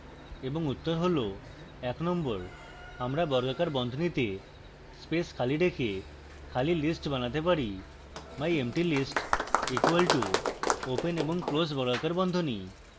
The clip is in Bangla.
এবং উত্তর হল